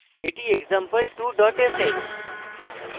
এটি example2 dot sh